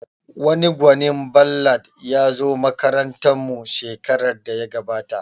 Wani gwanin ballad ya zo makarantar mu shekarar da ya gabata